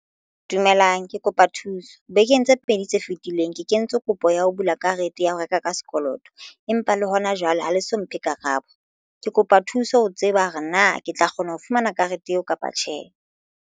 Dumelang ke kopa thuso bekeng tse pedi tse fetileng ke kentse kopo ya ho bula karete ya ho reka ka sekoloto empa le hona jwale ha le so mphe karabo. Ke kopa thuso ho tseba hore na ke tla kgona ho fumana karete eo kapa tjhe.